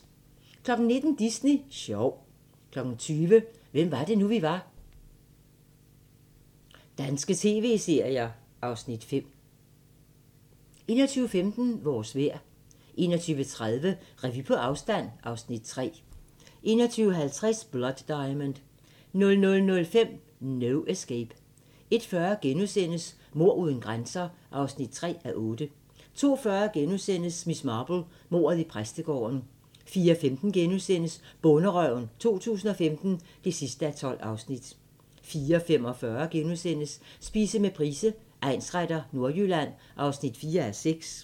19:00: Disney sjov 20:00: Hvem var det nu, vi var - danske tv-serier (Afs. 5) 21:15: Vores vejr 21:30: Revy på afstand (Afs. 3) 21:50: Blood Diamond 00:05: No Escape 01:40: Mord uden grænser (3:8)* 02:40: Miss Marple: Mordet i præstegården * 04:15: Bonderøven 2015 (12:12)* 04:45: Spise med Price, egnsretter: Nordjylland (4:6)*